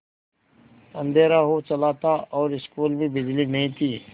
अँधेरा हो चला था और स्कूल में बिजली नहीं थी